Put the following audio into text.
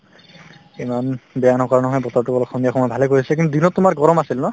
ইমান বেয়া নকৰা নহয় বতৰতো অলপ সন্ধিয়া সময়ত ভালে কৰিছে কিন্তু দিনত তোমাৰ গৰম আছিল ন